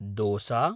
dosa